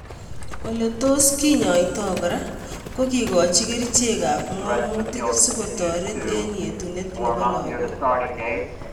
Ole tos kinyaita kora ko kekoch kerichek ab ngámutik si kotoret eng'etunet nepo lag'ok